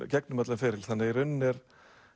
gegnum allan ferilinn þannig að í rauninni er